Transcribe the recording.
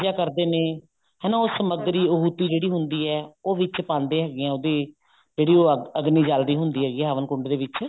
ਕਰਦੇ ਨੇ ਹਨਾ ਉਹ ਸਮਗਰੀ ਉਹ ਟੀ ਜਿਹੜੀ ਹੁੰਦੀ ਹੈ ਉਹ ਵਿੱਚ ਪਾਂਦੇ ਹੈਗੇ ਨੇ ਉਹਦੇ ਜਿਹੜੀ ਉਹ ਅਗਨੀ ਜਲਦੀ ਹੁੰਦੀ ਹੈਗੀ ਹੈ ਹਵਨ ਕੁੰਡ ਦੇ ਵਿੱਚ